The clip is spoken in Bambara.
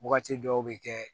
Wagati dɔw bɛ kɛ